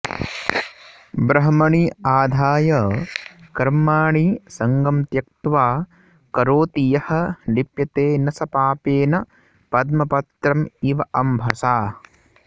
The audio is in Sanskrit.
ब्रह्मणि आधाय कर्माणि सङ्गं त्यक्त्वा करोति यः लिप्यते न स पापेन पद्मपत्रम् इव अम्भसा